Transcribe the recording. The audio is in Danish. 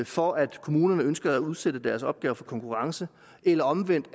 for at kommunerne ønsker at udsætte deres opgaver for konkurrence eller omvendt